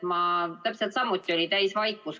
Meil kõigil oli täisvaikus.